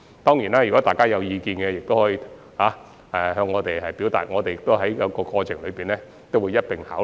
當然，如果大家有任何意見，亦可向我們提出，我們會在過程中一併考慮。